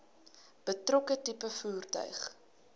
betrokke tipe voertuig